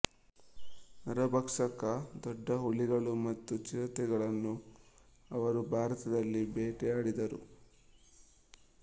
ನರಭಕ್ಷಕ ದೊಡ್ಡ ಹುಲಿಗಳು ಮತ್ತು ಚಿರತೆಗಳನ್ನು ಅವರು ಭಾರತದಲ್ಲಿ ಬೇಟೆಯಾಡಿದ್ದರು